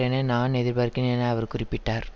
என நான் எதிர்பார்க்கிறேன் என அவர் குறிப்பிட்டார்